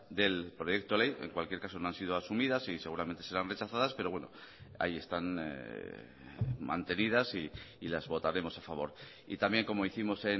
del proyecto de ley en cualquier caso no han sido asumidas y seguramente serán rechazadas pero bueno ahí están mantenidas y las votaremos a favor y también como hicimos